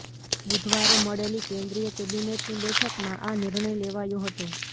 બુધવારે મળેલી કેન્દ્રીય કેબિનેટની બેઠકમાં આ નિર્ણય લેવાયો હતો